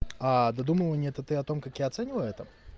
а додумывание это я о том как я оцениваю это